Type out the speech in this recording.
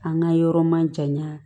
An ka yɔrɔ ma jaɲa